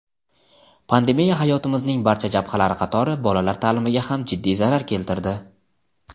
pandemiya hayotimizning barcha jabhalari qatori bolalar ta’limiga ham jiddiy zarar keltirdi.